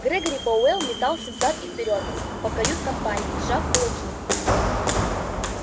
грегори пауэлл метался взад и вперёд по кают-компании сжав кулаки